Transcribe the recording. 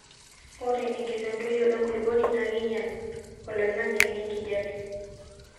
ore enkitodoyo enkulukuoni naa keinyal oloingangi le nkijape